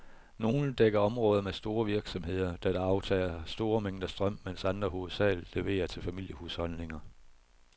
Nogle dækker områder med store virksomheder, der aftager store mængder strøm, mens andre hovedsageligt leverer til familiehusholdninger.